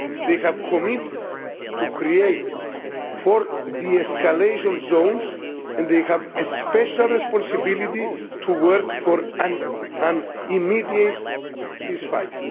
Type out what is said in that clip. They have committed to creating four de-escalation zones and they have a special responsibility to work for an immediate ceasefire.